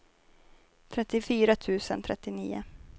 trettiofyra tusen trettionio